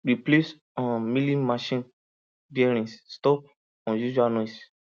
replace um milling machine bearings stop unusual noise